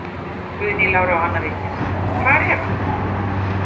Guðný Lára og Anna Vigdís: Hvar er hann?